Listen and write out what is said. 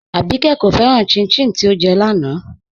Àbíkẹ́ kò fẹ́ràn chin-chin tí ọ́ jẹ́ láńà